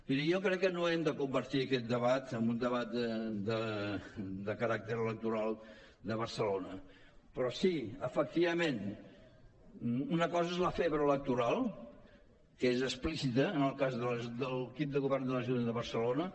miri jo crec que no hem de convertir aquest debat en un debat de caràcter electoral de barcelona però sí efectivament una cosa és la febre electoral que és explícita en el cas de l’equip de govern de l’ajuntament de barcelona